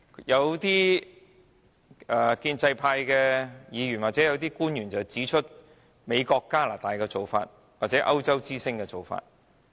有建制派議員或官員提到美國、加拿大或歐洲之星的做法。